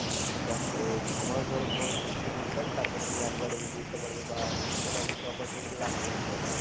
দেখ এই ছমাস ধরে তোমাকে কিস্তি ভরতে হবে তার পর তুমি একবারে মিটিয়ে দিতে পারবে বা এরকম একটা opportunity রাখে হয় তো